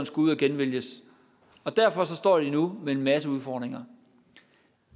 skulle ud at genvælges derfor står de nu med en masse udfordringer